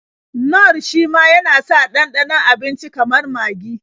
Nor shima yana sa ɗanɗanon abinici kamar magi.